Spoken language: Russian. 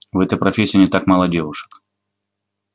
в этой профессии не так мало девушек